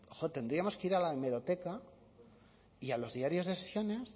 jo tendríamos que ir a la hemeroteca y a los diarios de sesiones